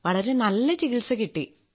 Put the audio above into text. വളരെ നല്ല ചികിത്സ കിട്ടി